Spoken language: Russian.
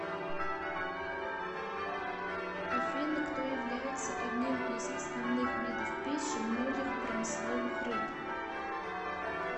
афина кто является одним из основных видов пищи многих промысловых рыб